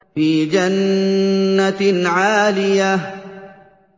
فِي جَنَّةٍ عَالِيَةٍ